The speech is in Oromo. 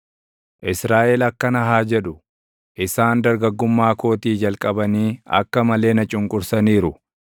Israaʼel akkana haa jedhu; “Isaan dargaggummaa kootii jalqabanii akka malee na cunqursaniiru;